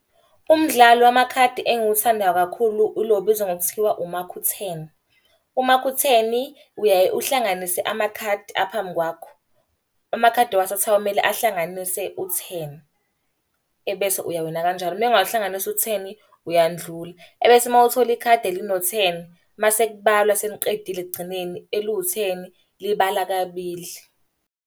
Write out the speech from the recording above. Umdlalo wamakhadi engiwuthanda kakhulu ulo obizwa ngokuthiwa umakhu-ten. Umakhu-ten uyaye uhlanganise amakhadi aphambi kwakho. Amakhadi owathathayo kumele ahlanganise u-ten. Ebese uyawina Kanjalo, uma engawuhlanganisi u-ten uyandlula. Ebese uma uthola ikhadi elino-ten, uma sekubalwa seniqedile ekugcineni eliwu-ten libala kabili.